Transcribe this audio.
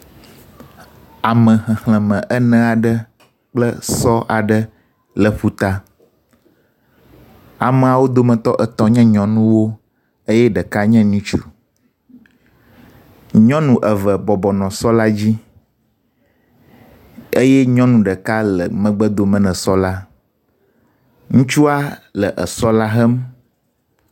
Ame xexlēme eneaɖe kple sɔ aɖe le ƒuta, ameawó dometɔ etɔ̃ nye nyɔnuwó eyɛ ɖeka nye nutsu, nyɔnu eve bɔbɔnɔ sɔ la dzí eyɛ nyɔnu ɖeka le megbedome ne sɔla, ŋutsua le esɔla hem